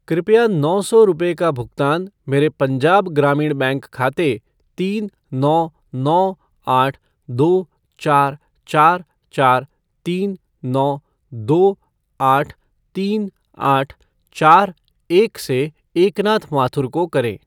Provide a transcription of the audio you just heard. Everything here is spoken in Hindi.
कृपया नौ सौ रुपये का भुगतान मेरे पंजाब ग्रामीण बैंक खाते तीन नौ नौ आठ दो चार चार चार तीन नौ दो आठ तीन आठ चार एक से एकनाथ माथुर को करें।